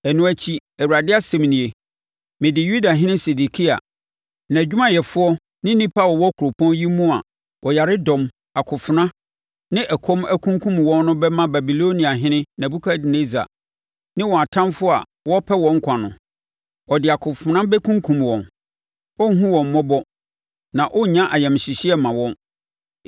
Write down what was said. Ɛno akyi, Awurade asɛm nie, mede Yudahene Sedekia, nʼadwumayɛfoɔ ne nnipa a wɔwɔ kuropɔn yi mu a ɔyaredɔm, akofena ne ɛkɔm ankunkum wɔn no bɛma Babiloniahene Nebukadnessar ne wɔn atamfoɔ wɔrepɛ wɔn nkwa no. Ɔde akofena bɛkunkum wɔn; ɔrenhunu wɔn mmɔbɔ na ɔrennya ayamhyehyeɛ mma wɔn.’